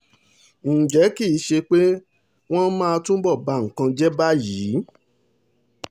ǹjẹ́ kì í ṣe pé wọ́n máa túbọ̀ ba nǹkan jẹ́ báyìí